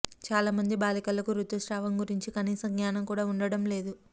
చాలామంది బాలికలకు రుతుస్రావం గురించి కనీస జ్ఞానం కూడా ఉండటం లేదు